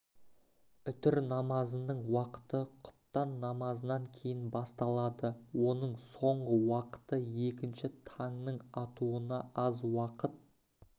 үтір намазының уақыты құптан намазынан кейін басталады оның соңғы уақыты екінші таңның атуына аз уақыт